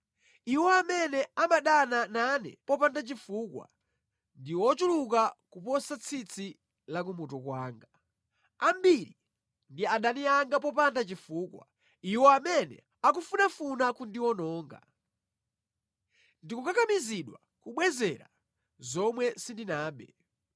Iwo amene amadana nane popanda chifukwa ndi ochuluka kuposa tsitsi la kumutu kwanga; ambiri ndi adani anga popanda chifukwa, iwo amene akufunafuna kundiwononga. Ndikukakamizidwa kubwezera zomwe sindinabe.